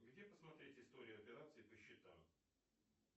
где посмотреть история операций по счетам